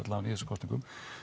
í þessum kosningum